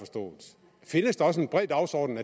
findes der også en bred dagsorden